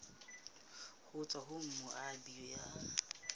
ho tswa ho moabi ya